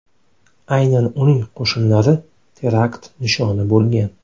Aynan uning qo‘shinlari terakt nishoni bo‘lgan.